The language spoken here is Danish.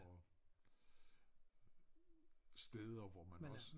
Og steder hvor man også